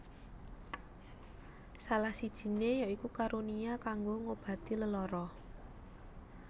Salah sijiné ya iku karunia kanggo ngobati lelara